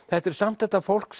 þetta er samt þetta fólk